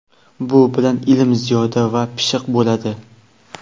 Bu bilan ilm ziyoda va pishiq bo‘ladi.